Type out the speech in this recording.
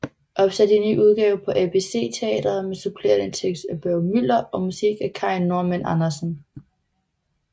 Opsat i ny udgave på ABC Teatret med supplerende tekst af Børge Müller og musik af Kai Normann Andersen